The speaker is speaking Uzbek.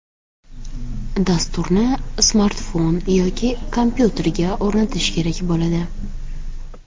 Dasturni smartfon yoki kompyuterga o‘rnatish kerak bo‘ladi.